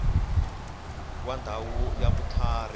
wa ndhawu ya vutlhari ya